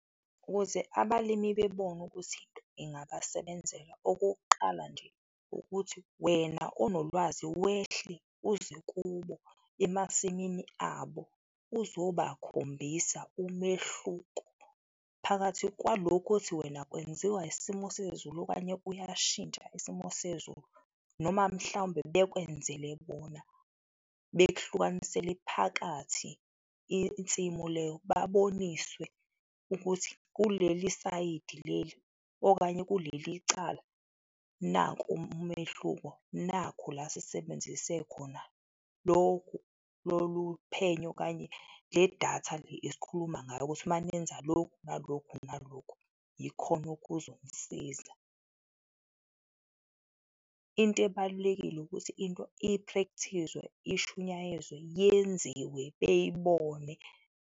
Ukuze abalimi bebone ukuthi ingabasebenzela, okokuqala nje, ukuthi wena onolwazi wehle uze kubo emasimini abo uzobakhombisa umehluko phakathi kwalokho othi wena kwenziwa isimo sezulu okanye kuyashintsha isimo sezulu noma mhlawumbe bekwenzele bona, bekhlukanisele phakathi insimu leyo. Baboniswe ukuthi kuleli sayidi leli okanye kulelicala, nanku umehluko, nakhu la sisebenzise khona lokhu, lolu phenyo okanye le datha le esikhuluma ngayo ukuthi manenza lokhu nalokhu nalokhu, ikhona okuzomsiza. Into ebalulekile ukuthi into ipractice-we, ishunyayezwe, yenziwe beyibone.